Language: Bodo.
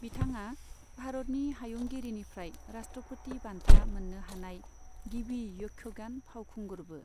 बिथाङा भारतनि हायुंगिरिनिफ्राय राष्ट्रपति बान्था मोननो हानाय गिबि यक्षगान फावखुंगुरबो।